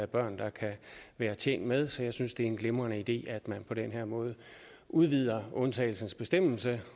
børn der kan være tjent med så jeg synes det er en glimrende idé at man på den her måde udvider undtagelsesbestemmelsen